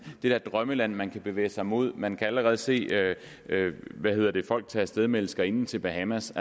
der drømmeland man kan bevæge sig mod man kan allerede se hvad hedder det folk tage af sted med elskerinden til bahamas